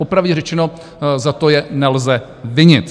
Popravdě řečeno, za to je nelze vinit.